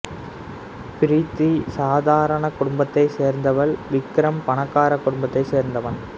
பிரீத்தி சாதாரண குடும்பத்தை சேர்ந்தவள் விக்ரம் பணக்கார குடும்பத்தை சேர்ந்தவன்